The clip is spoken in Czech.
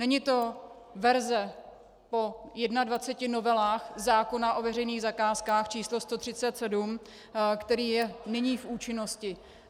Není to verze po 21 novelách zákona o veřejných zakázkách č. 137, který je nyní v účinnosti.